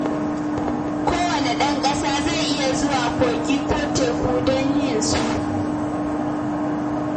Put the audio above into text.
Kowanne ɗan ƙasa zai iya zuwa kogi ko teku don yin su